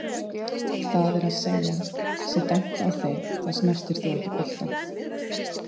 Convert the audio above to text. það er að segja, sé dæmt á þig þá snertir þú ekki boltann?